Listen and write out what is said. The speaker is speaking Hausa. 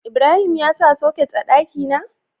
Ibrahim ya sa soket a dakina?